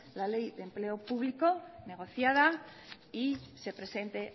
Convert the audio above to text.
la ley de empleo público negociada y se presente